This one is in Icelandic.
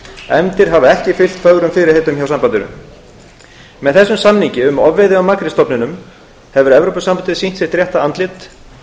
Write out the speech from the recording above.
efndir hafa ekki fylgt fögrum fyrirheitum hjá sambandinu með þessum samningi um ofveiði á makrílstofninum hefur evrópusambandið sýnt sitt rétta andlit